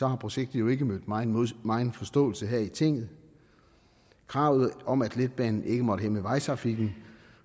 har projektet jo ikke mødt megen megen forståelse her i tinget kravet om at letbanen ikke måtte hæmme vejtrafikken